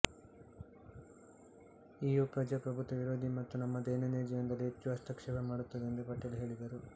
EU ಪ್ರಜಾಪ್ರಭುತ್ವ ವಿರೋಧಿ ಮತ್ತು ನಮ್ಮ ದೈನಂದಿನ ಜೀವನದಲ್ಲಿ ಹೆಚ್ಚು ಹಸ್ತಕ್ಷೇಪ ಮಾಡುತ್ತದೆ ಎಂದು ಪಟೇಲ್ ಹೇಳಿದರು